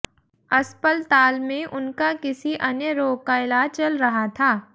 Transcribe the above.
अस्पलताल में उनका किसी अन्य रोग का इलाज चल रहा था